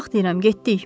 Qalx deyirəm getdik.